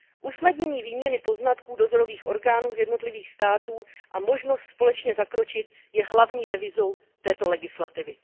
Usnadnění výměny poznatků dozorových orgánů z jednotlivých států a možnost společně zakročit je hlavní devizou této legislativy.